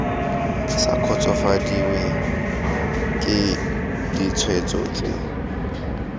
sa kgotsofadiwe ke ditshwetso tse